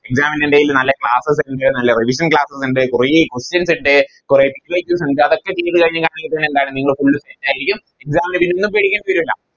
Exam നിടയിൽ നല്ല Classes ഇണ്ട് നല്ല Revision classes ഇണ്ട് കുറെ Questions ഇണ്ട് കുറെ Equations ഇണ്ട് അതൊക്കെ ചെയ്ത് കഴിഞ്ഞാൽ പിന്നെ എന്താണ് നിങ്ങൾ Full set ആരിക്കും Exam ന് ഒന്നും പേടിക്കണ്ട വരൂല